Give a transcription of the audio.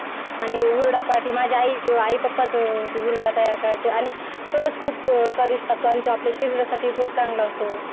आणि हुरडा पार्टी माझी आई माझी आई पप्पा ते हुरडा तयार करायचं आणि तसाच खूप स्वादिस्ट असतो आणि ते आपल्या शरीरा साठी पण खूप चांगलं असतो